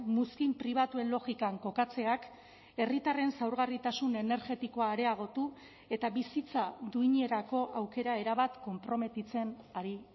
muzkin pribatuen logikan kokatzeak herritarren zaurgarritasun energetikoa areagotu eta bizitza duinerako aukera erabat konprometitzen ari